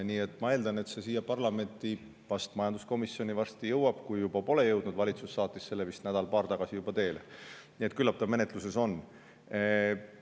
Nii et ma eeldan, et see siia parlamenti, vast majanduskomisjoni varsti jõuab, kui juba pole jõudnud – valitsus saatis selle vist nädal-paar tagasi juba teele, nii et küllap ta menetluses on.